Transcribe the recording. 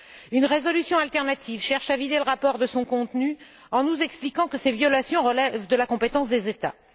Une résolution alternative cherche à vider le rapport de son contenu en nous expliquant que ces violations relèvent de la compétence des États.